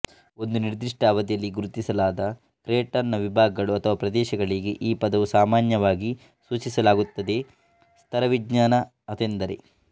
ಒಂದು ನಿರ್ದಿಷ್ಟ ಅವಧಿಯಲ್ಲಿ ಗುರುತಿಸಲಾದ ಕ್ರೆಟನ್ ನ ವಿಭಾಗಗಳು ಅಥವಾ ಪ್ರದೇಶಗಳಿಗೆ ಈ ಪದವನ್ನು ಸಾಮಾನ್ಯವಾಗಿ ಸೂಚಿಸಲಾಗುತ್ತದೆಸ್ತರವಿಜ್ಞಾನ ಅದೆಂದರೆ